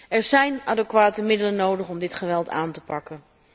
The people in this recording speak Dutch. Er zijn adequate middelen nodig om dit geweld aan te pakken.